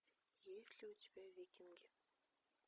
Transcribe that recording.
есть ли у тебя викинги